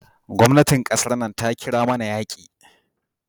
Gwamnatin kasan nan ta kira mana yaki.